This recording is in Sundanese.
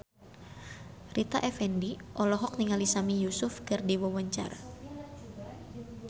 Rita Effendy olohok ningali Sami Yusuf keur diwawancara